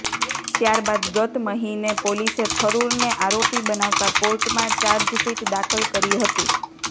ત્યારબાદ ગત મહિને પોલીસે થરૂરને આરોપી બનાવતા કોર્ટમાં ચાર્જશીટ દાખલ કરી હતી